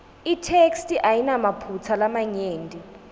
itheksthi ayinamaphutsa lamanyenti